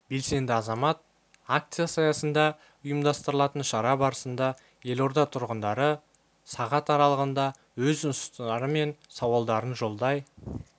белсенді азамат акциясы аясында ұйымдастырылатын шара барысында елорда тұрғындары сағат аралығында өз ұсыныстары мен сауалдарын жолдай